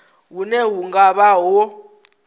hune hu nga vha ho